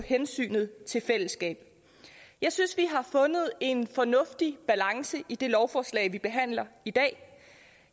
hensynet til fællesskabet jeg synes vi har fundet en fornuftig balance i det lovforslag vi behandler i dag